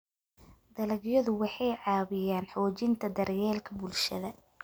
Dalagyadu waxay caawiyaan xoojinta daryeelka bulshada.